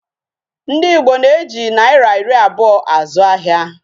Ndi Igbo na-eji naira iri abuo azu ahia.